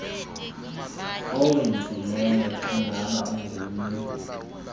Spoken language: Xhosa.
owenzileyo xangaba ungummi